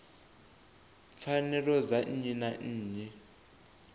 pfanelo dza nnyi na nnyi